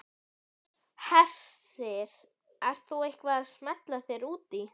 Hersir: Ert þú eitthvað að smella þér út í?